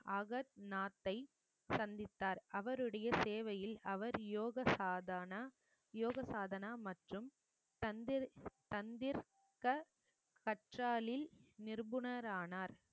ஆகர் நாத்தை சந்தித்தார் அவருடைய சேவையில் அவர் யோக சாதான யோக சாதனா மற்றும் நிபுணரானார்